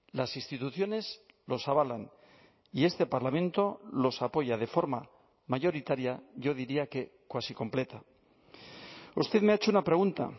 las instituciones los avalan y este parlamento los apoya de forma mayoritaria yo diría que cuasi completa usted me ha hecho una pregunta